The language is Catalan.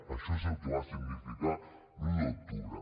això és el que va significar l’un d’octubre